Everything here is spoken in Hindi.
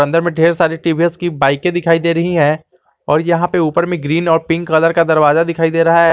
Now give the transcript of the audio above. अंदर में ढेर सारी टी_वी_एस की बाइके दिखाई दे रही है और यहां पे ऊपर में ग्रीन और पिंक कलर का दरवाजा दिखाई दे रहा--